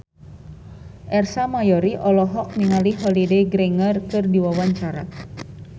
Ersa Mayori olohok ningali Holliday Grainger keur diwawancara